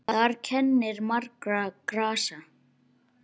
Þar kennir margra grasa.